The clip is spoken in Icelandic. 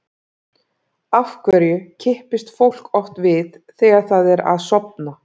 Af hverju kippist fólk oft við þegar það er að sofna?